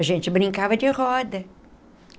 A gente brincava de roda.